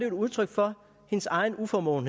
et udtryk for hendes egen uformåen